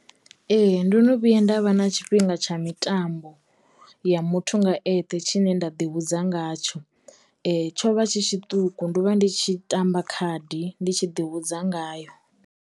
Ee ndo no vhuya nda vha na tshifhinga tsha mitambo ya muthu nga eṱhe tshine nda ḓi vhudza ngatsho tsho vha tshi tshiṱuku ndo vha ndi tshi tamba khadi ndi tshi ḓivhudza ngayo.